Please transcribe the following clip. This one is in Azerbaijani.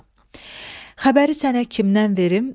Xəbəri sənə kimdən verim?